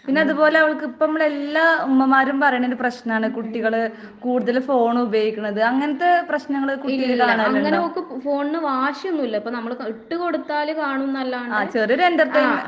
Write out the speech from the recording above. പിന്നെ അതുപോലെ അവൾക്ക് ഇപ്പൊ മ്മള് എല്ലാ ഉമ്മമാരും പറയണൊരു പ്രശ്‌നാണ് കുട്ടികള് കൂടുതല് ഫോണ് ഉപയോഗിക്കണത്. അങ്ങനത്തെ പ്രശ്നങ്ങള് കുട്ടികളില് കാണണുണ്ടോ? ആഹ് ചെറിയൊര് എന്റർടെയിൻമെന്റ്.